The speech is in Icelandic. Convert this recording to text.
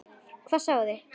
Hvað sáuði?